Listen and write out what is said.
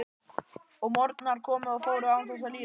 Og morgnar komu og fóru án þess að líða.